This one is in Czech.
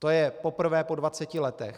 To je poprvé po 20 letech.